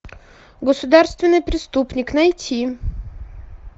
государственный преступник найти